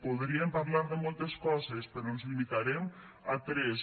podríem parlar de moltes coses però ens limitarem a tres